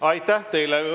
Aitäh teile!